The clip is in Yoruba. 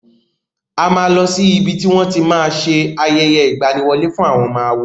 A máa lọ sí ibi tí wón ti máa ṣe ayẹyẹ ìgbaniwọlé fún àwọn ọmọ àwo.